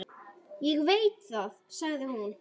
Ég veit það, sagði hún.